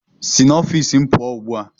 Si n'ọfiisi m pụọ ugbu a!